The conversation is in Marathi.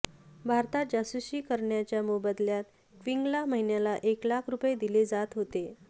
भारतात जासूसी करण्याच्या मोबदल्यात क्विंगला महिन्याला एक लाख रूपये दिले जात होते